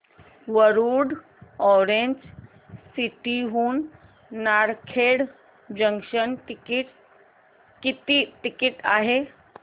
Warud orange city हून Narkhed junction किती ticket आहे